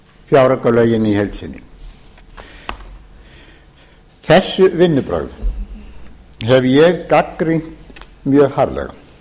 fjáraukalögin í heild sinni þessi vinnubrögð hef ég gagnrýnt mjög harðlega